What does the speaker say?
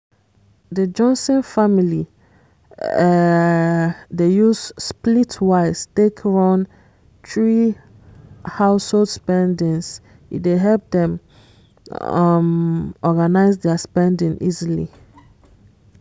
the johnson family um dey use splitwise take run thrie household spendings e dey help dem um organise their spending easily.